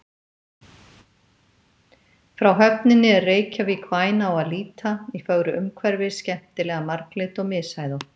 Frá höfninni er Reykjavík væn á að líta, í fögru umhverfi, skemmtilega marglit og mishæðótt.